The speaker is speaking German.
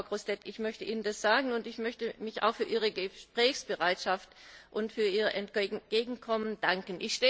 Frau Grossetête, ich möchte Ihnen das sagen und ich möchte Ihnen auch für Ihre Gesprächsbereitschaft und für Ihr Entgegenkommen danken.